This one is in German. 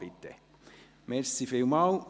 Bitte beginnen Sie doch einmal.